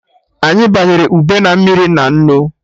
Anyị banyere ube na mmiri na nnu